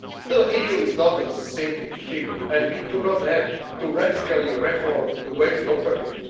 The EU is not a sinking ship and we do not have to radically reform the way we operate.